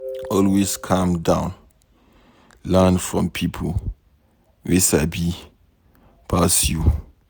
Always calm down learn from pipo wey sabi pass you.